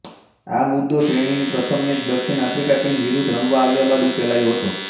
આ મુદ્દો શ્રેણીની પ્રથમ મેચ દક્ષિણ આફ્રિકા ટીમ વિરુદ્ધ રમવા આવ્યા બાદ ઉકેલાયો હતો